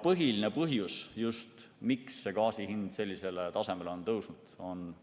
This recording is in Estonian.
Põhiline põhjus, miks gaasi hind sellisele tasemele on tõusnud,